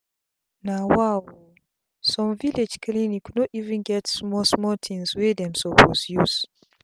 na wa o some village clinic no even get small small tins wey dem suppose use